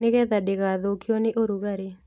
Nĩgetha ndĩgathũkio nĩ ũrugarĩ